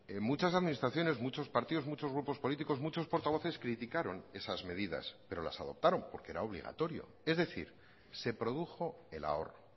en muchas administraciones muchos partidos muchos grupos políticos muchos portavoces criticaron esas medidas pero las adoptaron porque era obligatorio es decir se produjo el ahorro